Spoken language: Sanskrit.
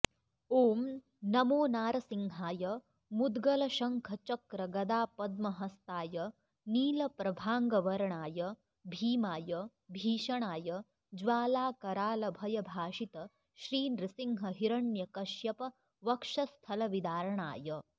ॐ नमो नारसिंहाय मुद्गलशङ्खचक्रगदापद्महस्ताय नीलप्रभाङ्गवर्णाय भीमाय भीषणाय ज्वालाकरालभयभाषित श्रीनृसिंहहिरण्यकश्यपवक्षस्थलविदार्णाय